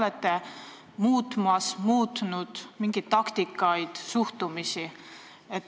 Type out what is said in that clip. Kas te olete muutmas või muutnud mingeid taktikaid ja suhtumisi?